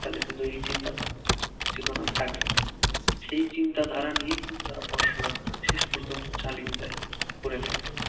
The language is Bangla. তাদের কিন্তু এই চিন্তা চেতনা থাকে, সেই চিন্তাধারা নিয়েই কিন্তু তারা পড়াশোনা শেষ পর্যন্ত চালিয়ে যায় করে থাকে